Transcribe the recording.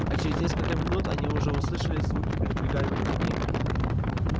а через несколько минут они уже слышали звуки передвигаемых камней